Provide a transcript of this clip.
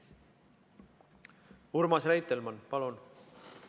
Urmas Reitelmann, palun!